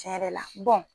Tiɲɛ yɛrɛ la